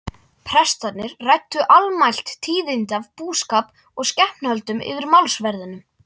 Prestarnir ræddu almælt tíðindi af búskap og skepnuhöldum yfir málsverðinum.